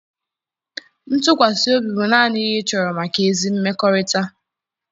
ntụkwasị obi bụ naanị ihe ịchọrọ maka ezi mmekọrịta.